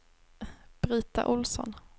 Brita Olsson